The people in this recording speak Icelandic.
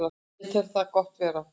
Ég tel það gott verð